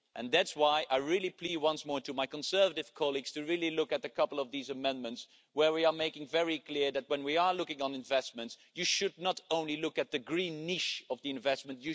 That is why I plead once more with my Conservative colleagues to really look at a couple of these amendments, where we are making it very clear that when you look at investments, you should not only look at the green niche of the investment.